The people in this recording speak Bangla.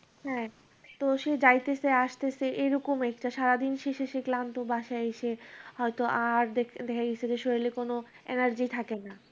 হ্যাঁ, তো সেই গাড়িতে সে আসতেছে, এরকম একটা। সারাদিন শেষে সে ক্লান্ত বাসায় এসে হয়তো আর শরীরে কোন energy থাকে না।